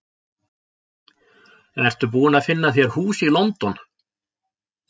Ertu búinn að finna þér hús í London?